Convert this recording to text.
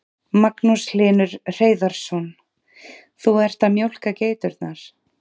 Magnús Hlynur Hreiðarsson: Þú ert að mjólka geiturnar?